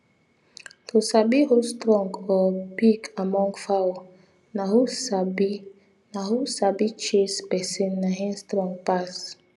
to sabi who strong or big among fowl na who sabi na who sabi chase person na him strong pass